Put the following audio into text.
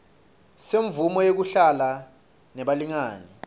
semvumo yekuhlala nebalingani